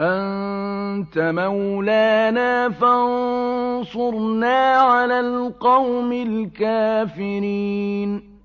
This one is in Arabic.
أَنتَ مَوْلَانَا فَانصُرْنَا عَلَى الْقَوْمِ الْكَافِرِينَ